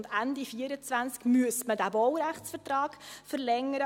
Ende 2024 müsste man den Baurechtsvertrag verlängern.